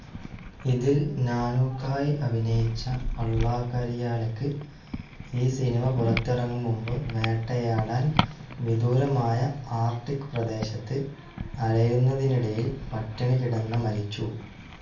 ഇതിൽ നാനൂക്കായി അഭിനയിച്ച അള്ളാകരിയാലക്ക് ഈ സിനിമ പുറത്തിറങ്ങും മുമ്പ് വേട്ടയാടാൻ വിദൂരമായ ആർക്ടിക്‌ പ്രദേശത്ത് അലയുന്നതിനിടയിൽ പട്ടിണികിടന്ന മരിച്ചു.